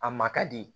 A ma ka di